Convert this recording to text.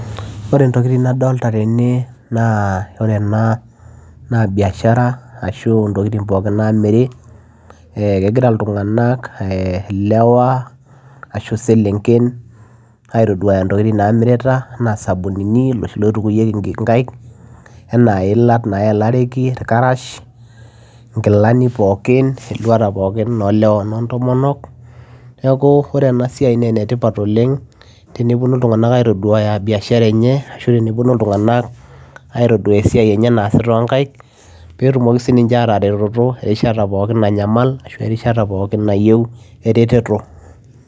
ore intokiting nadolta tene naa ore ena naa biashara ashu intokiting pookin namiri eh kegira iltung'anak eh ilewa ashu iselenken aitoduaya intokiting namirita anaa isabunini loshi loitukuyieki inkaik enaa iila nayelareki irkarash inkilani pookin eluata pookin olewa onontomonok neeku ore ena siai naa enetipat oleng teneponu iltung'anak aitoduaya biashara enye ashu teneponu iltung'anak aitoduaya esiai enye naasita onkaik petumoki sininche ataretoto erishata pookin nanyamal ashu erishata pookin nayieu ereteto.